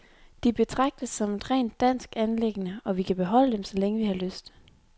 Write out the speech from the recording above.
De betragtes som et rent dansk anliggende, og vi kan beholde dem, så længe vi har lyst.